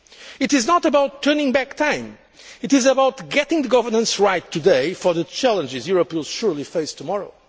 as well. It is not about turning back time it is about getting the governance right today for the challenges Europe will surely face